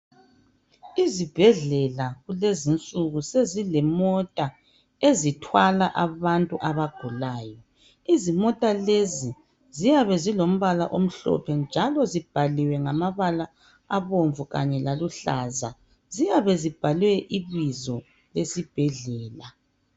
Izibhedlela kulezinsuku sezilemota ezithwala abantu abagulayo izimota lezi ziyabezilombala omhlophe njalo zibhaliwe ngamabala abomvu laluhlaza ziyabe zibhalwe ibizo lesibhedlela